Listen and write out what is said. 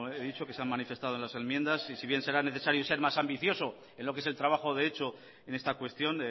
he dicho que se han manifestado en las enmiendas y si bien será necesario ser más ambicioso en lo que es el trabajo de hecho en esta cuestión